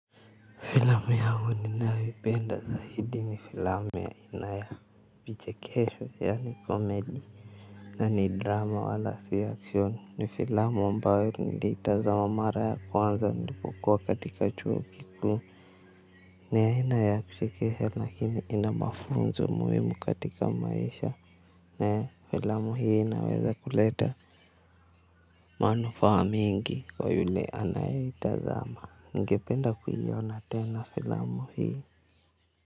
Filamu yangu ninayoipenda zaidi ni filamu ya inayo vichekesho yaani komedi. Na ni drama wala si action ni filamu ambayo niliitazama mara ya kwanza nipokuwa katika chuo kikuu ni aina ya kuchekesha lakini ina mafunzo muhimu katika maisha. Na filamu hii inaweza kuleta manufaa mingi kwa yule anayeitazama. Ningependa kuiona tena filamu hii.